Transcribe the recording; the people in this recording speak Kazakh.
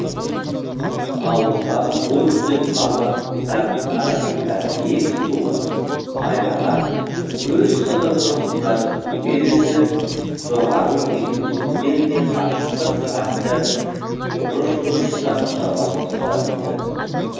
ауылдағы бой түзеп қалған қыздардың арасындағы ең сұлуы майраға өз сыныбының ұлдары түгелі жоғары оқитын жігіттер де ғашықтық хат жазып бұрыш бұрыштан жауап тосатын ды